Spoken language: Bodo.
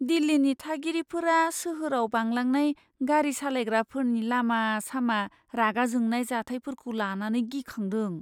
दिल्लीनि थागिरिफोरा सोहोराव बांलांनाय गारि सालायग्राफोरनि लामा सामा रागा जोंनाय जाथायफोरखौ लानानै गिखांदों।